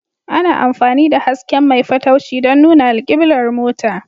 Ana amfani da hasken mai fatauci don nuna alkiblar mota